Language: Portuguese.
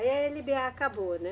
Aí a eLeBêA acabou, né?